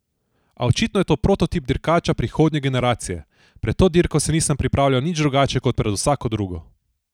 A očitno je to prototip dirkača prihodnje generacije: "Pred to dirko se nisem pripravljal nič drugače kot pred vsako drugo.